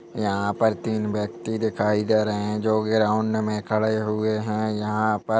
यहाँ पर तीन व्यक्ति दिखाई दे रहे है जो ग्राउन्ड मे खड़े हुए है। यहाँ पर--